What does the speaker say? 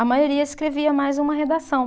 A maioria escrevia mais uma redação.